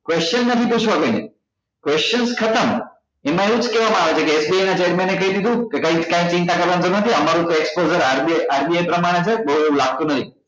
question નથી પૂછવા કોઈ ને question ખતમ એમાં એ જ કેવા માં આવે છે કે SBI ના chairman અએ કઈ દીધું કે કાંઈજ ચિંતા કરવા ની જરૂર નથી અમારું તો exposureRBI પ્રમાણે છે કઈ લાગતુ નહી